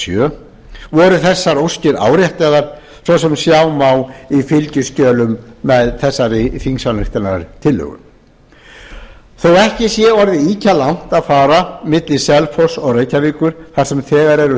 sjö voru þessar óskir áréttaðar svo sem sjá má í fylgiskjölum tvö og þriðja þótt ekki sé orðið ýkja langt að fara milli selfoss og reykjavíkur þar sem þegar eru